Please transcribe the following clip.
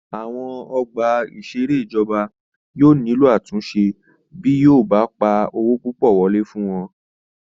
Àwọn ọgbà ìṣeré ìjọba yóò nílò àtúnṣe bí yóò bá pa owó púpọ̀ wọlé fún wọn